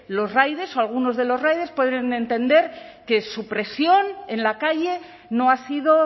los riders o algunos de los riders pueden entender que su presión en la calle no ha sido